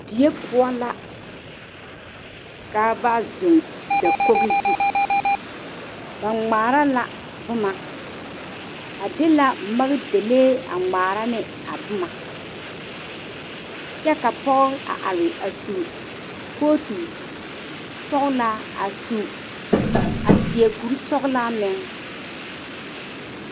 Die poɔ la ka ba zeŋ dakogi zu ba ŋmaare la boma ba de la maŋdalee a ŋmaare ne a boma kyɛ a pɔge a are a su kootu sɔglaa a su a seɛ kuri sɔglaa meŋ.